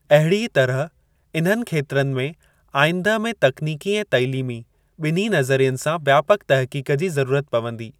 अहिड़ीअ तरह इन्हनि खेत्रनि में आईंदह में तकनीकी ऐं तइलीमी, बि॒न्ही नज़रियनि सां व्यापक तहक़ीक़ जी ज़रूरत पवंदी।